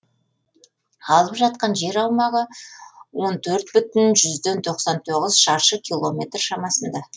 алып жатқан жер аумағы он төрт бүтін жүзден тоқсан тоғыз шаршы километр шамасында